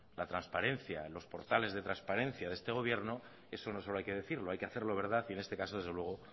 la transparencia los portales de transparencia de este gobierno eso no solo hay que decirlo hay que hacerlo verdad y en este caso desde luego